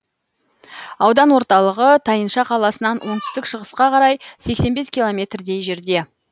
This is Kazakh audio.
аудан орталығы тайынша қаласынан оңтүстік шығысқа қарай сексен бес километрдей жерде